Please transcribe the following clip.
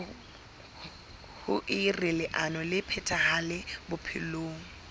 hoer leano le phethahale bophelong